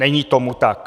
Není tomu tak.